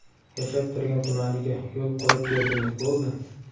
Yashab turgan tumaniga yo‘l qurib berdingiz, bo‘ldi.